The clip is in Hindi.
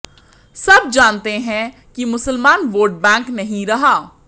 सब जानते हैं कि मुसलमान वोट बैंक नहीं रहा